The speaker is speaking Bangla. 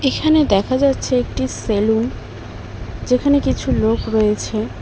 এখানে দেখা যাচ্ছে একটি সেলুন যেখানে কিছু লোক রয়েছে।